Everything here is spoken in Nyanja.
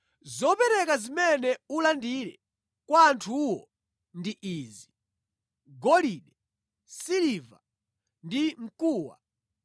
Zopereka zimene ulandire kwa anthuwo ndi izi: Golide, siliva ndi mkuwa.